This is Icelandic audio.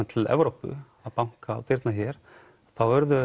til Evrópu þá urðum